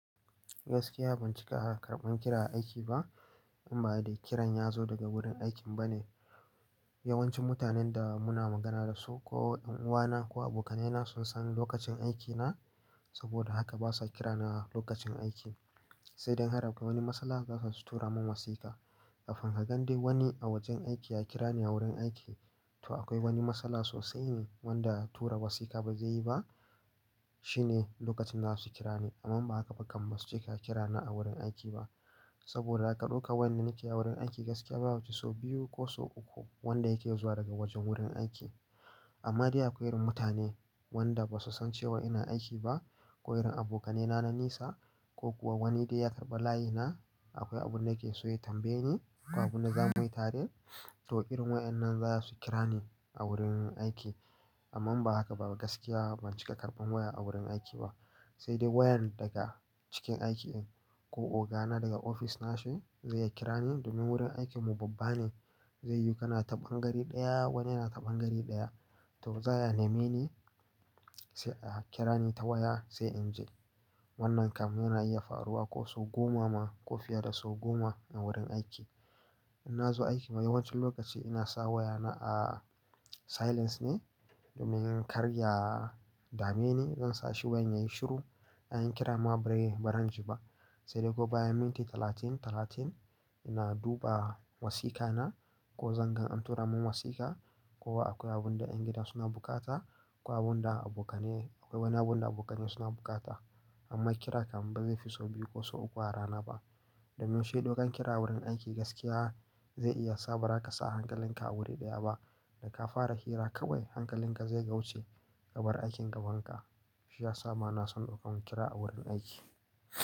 Gaskiya, ban cika karban, kira a aiki ba in ba dai kiran ya zo daga wurin aikin ba ne. Yawancin mutanen da muna magana da su ko ɗan'uwana, ko abokaina, sun san lokacin aikina, saboda haka basa kirana a lokacin aiki. Sai dai in har akwai wani matsala, za su tura min wasika. Kafin ka gan dai wani a wajen aiki ya kira ni a wurin aiki, to akwai wani matsala sosai ne wanda tura wasika ba zai yi ba. Shi ne lokacin za su kira ni. Amma ba haka ba kaman suke ka kira ni a wurin aiki ba. Saboda aka ɗauka wannan nake a wurin aiki gaskiya babu sau biyu, ko sau uku wanda yake zuwa daga wajen wurin aiki. Amma dai akwai wurin mutane wanda basu san cewa ina aiki ba, ko wurin abokaina na nisa ko kuwa wani dai ya karɓa layi na, akwai abun da yake so ya tambaye ni, ko abun da zamuyi tare. To irin wayannan za su kira ni a wurin aiki. Amma ba haka ba gaskiya ban cika karban waya a wurin aiki ba. Sai dai wayan daga cikin aikin, ko ogana daga ofis nashi, zai ya kira ni domin wurin aikinmu babba ne. Zai yi kana ta ɓangare ɗaya wani yana ta ɓangare ɗaya. To zaya neme ni, sai a kira ni ta waya sai inje. Wannan kam yana iya faruwa sau goma, ma ko fiye da sau goma a wurin aiki. In nazo aiki mai yawancin lokaci ina sa wayana a, silence ne, domin zan karya dameni. Zan sa shi wayan yayi shiru, an kira mu a birai baran ji ba. Sai dai gobe bayan minti talatin, talatin, ina duba wasikana, ko zanga an tura min wasika, ko akwai abun da ƴan gida suna buƙata, ko abun da abokane akwai wani abun da abokane suna buƙata. Amma kira kam ba zai fi sau biyu ko sau uku a rana ba. Domin shi ɗaukan kira a wurin aiki gaskiya, zai iya sa ba ka sa hankalinka a wuri ɗaya ba. Da ka fara hira kawai hankalinka zai gauce. Ka bar aikin gaban ka, shi ya sa ma na son ɗaukan kira a wurin aiki.